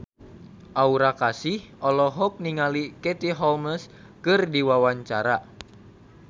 Aura Kasih olohok ningali Katie Holmes keur diwawancara